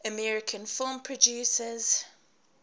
american film producers